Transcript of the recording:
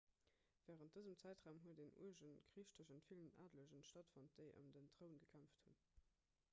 wärend dësem zäitraum huet en uerge krich tëschent villen adelege stattfonnt déi ëm den troun gekämpft hunn